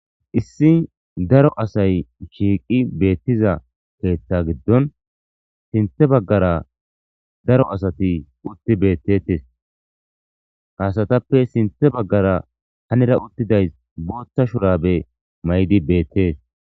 issi daro asay shiiqi beettiza keeththa giddon sinthe baggara daro asati utti beettetes ha asatappe sinthe baggara hanira uttidays booththa shurabe mayidi beettees